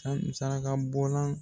Ani sarakabɔlan